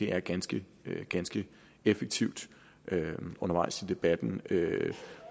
er ganske ganske effektivt undervejs i debatten